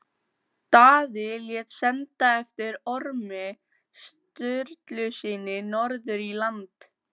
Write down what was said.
Það er þokkalegur faðir sem þú átt í vændum!